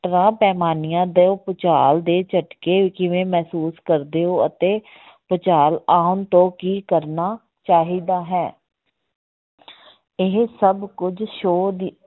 ਪੈਮਾਨੀਆਂ ਤੋਂ ਭੁਚਾਲ ਦੇ ਝਟਕੇ ਕਿਵੇਂ ਮਹਿਸੂਸ ਕਰਦੇ ਹੋ ਅਤੇ ਭੁਚਾਲ ਆਉਣ ਤੋਂ ਕੀ ਕਰਨਾ ਚਾਹੀਦਾ ਹੈ ਇਹ ਸਭ ਕੁਝ show ਦੇ